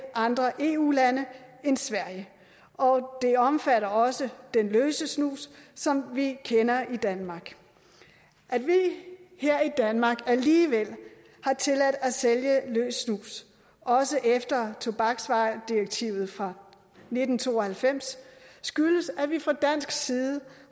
andre eu lande end sverige og det omfatter også den løse snus som vi kender i danmark at vi her i danmark alligevel har tilladt at sælge løs snus også efter tobaksvaredirektivet fra nitten to og halvfems skyldes at vi fra dansk side